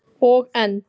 Og enn